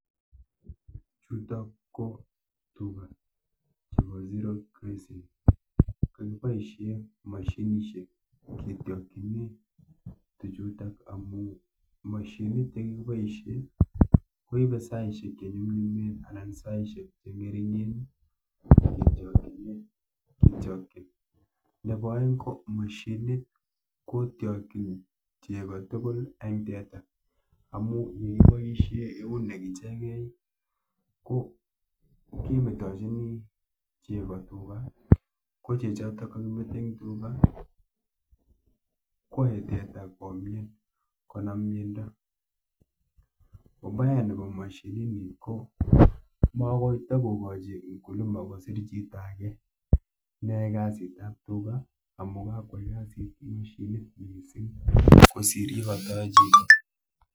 Chutok ko tuga chepo zero grazing. Kakiboishe mashinishek ketyokchine tuchutok amu mashinit yekakiboishe koibe saishek chenyumnyumen anan saishek cheng'ering'en ketyokchine kityokchin. Nepo oeng ko mashinit kotyokchin chego tugul eng teta amu yeiboishe eunek ichekei ko kemetochini chego tuga, ko chechoto kakimete eng tuga kwoe teta komien, konam miendo. Ubaya nepo mashinini ko makoi takokochi mkulima kosir chito ake neyoe kasitap tuga amu kakwai kasit mashinit mising kosir yekatayoe chito.